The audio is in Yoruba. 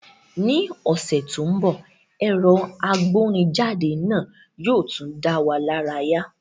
Ní ọ̀sẹ̀ tó ń bọ̀, ẹ̀rọ agbórinjáde náà yóò tún dá wa lára yá